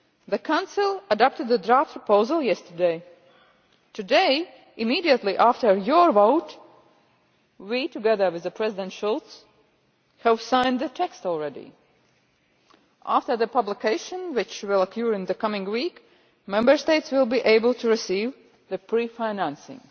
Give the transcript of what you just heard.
The Council adopted the draft proposal yesterday. Today, immediately after your vote, we, together with President Schulz, co-signed the text already. After the publication, which will occur in the coming week, Member States will be able to receive pre financing.